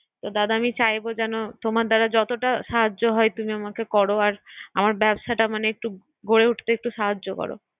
দাদা নাই চাইবো যেন তোমার দ্বারা ‍যতটা সাহায্য হয় তুমি আমাকে কর আর আমার ব্যবসটা মানে গড়ে উঠতে একটু সাহায্য কর